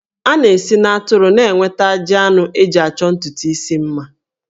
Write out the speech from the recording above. A na-esi n'atụrụ na-enweta ajị anụ eji achọ ntutu isi mma